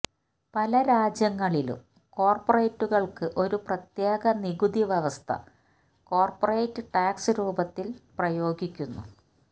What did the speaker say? പല രാജ്യങ്ങളിലും കോർപറേറ്റുകൾക്ക് ഒരു പ്രത്യേക നികുതി വ്യവസ്ഥ കോർപ്പറേറ്റ് ടാക്സ് രൂപത്തിൽ പ്രയോഗിക്കുന്നു